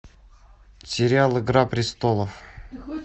сериал игра престолов